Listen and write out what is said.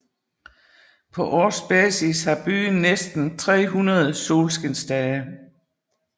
På årsbasis har byen næsten 300 solskinsdage